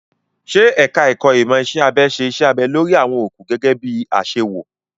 Ṣé ẹ̀ka ẹ̀kó ìmọ̀ iṣẹ́ abẹ ṣe iṣẹ́ abẹ lórí àwọn òkú gẹ́gẹ́ bí i àṣewò?